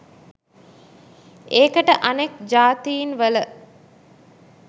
ඒකට අනෙක් ජාතීන්වල